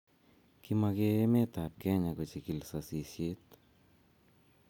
kimage emet ab Kenya kochikil sasishet